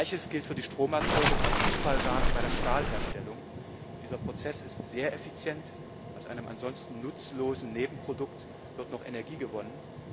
Gleiches gilt für die Stromerzeugung aus Abfallgasen bei der Stahlherstellung. Dieser Prozess ist sehr effizient, aus einem ansonsten nutzlosen Nebenprodukt wird noch Energie gewonnen.